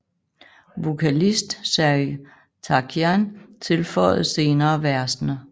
Vokalist Serj Tankian tilføjede senere versene